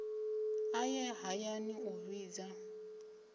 a ye hayani u vhidza